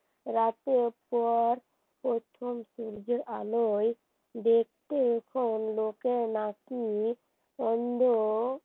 রাতের পর প্রথম সূর্যের আলোয় দেখতে এখন লোকে নাকি অন্ধ